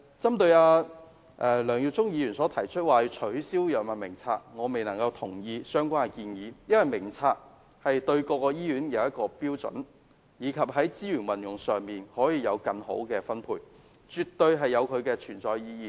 針對梁耀忠議員提議取消《藥物名冊》，我不能同意他的建議，因為《藥物名冊》對各醫院來說是一項標準，在資源運用上亦可以作更好的分配，絕對有其存在意義。